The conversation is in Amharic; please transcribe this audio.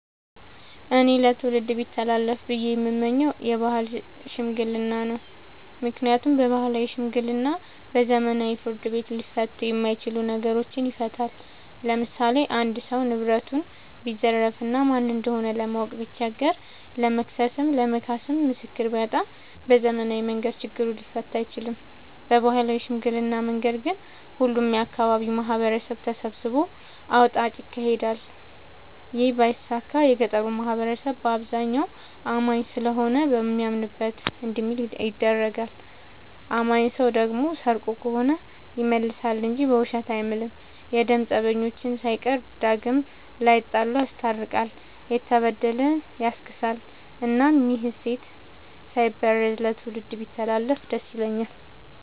እኔ ለትውልድ ቢተላለፍ ብዬ የምመኘው የባህል ሽምግልና ነው። ምክንያቱም ባህላዊ ሽምግልና በዘመናዊ ፍርድ ቤት ሊፈቱ የማይችሉ ነገሮችን ይፈታል። ለምሳሌ አንድ ሰው ንብረቱን ቢዘረፍ እና ማን እንደሆነ ለማወቅ ቢቸገር ለመክሰስም ለመካስም ምስክር ቢያጣ በዘመናዊ መንገድ ችግሩ ሊፈታ አይችልም። በባህላዊ ሽምግልና መንገድ ግን ሁሉም የአካባቢው ማህበረሰብ ተሰብስቦ አውጣጭ ይካሄዳል ይህ ባይሳካ የገጠሩ ማህበረሰብ አብዛኛው አማኝ ስለሆነ በሚያምንበት እንዲምል ይደረጋል። አማኝ ሰው ደግሞ ሰርቆ ከሆነ ይመልሳ እንጂ በውሸት አይምልም። የደም ፀበኞችን ሳይቀር ዳግም ላይጣሉ ይስታርቃል፤ የተበደለ ያስክሳል እናም ይህ እሴት ሳይበረዝ ለትውልድ ቢተላለፍ ደስተኛ ነኝ።